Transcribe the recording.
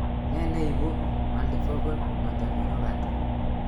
Nee neibu multifocal motor neuropathy